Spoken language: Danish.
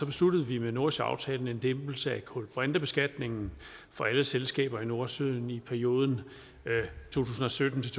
besluttede vi med nordsøaftalen en lempelse af kulbrintebeskatningen for alle selskaber i nordsøen i perioden to tusind og sytten til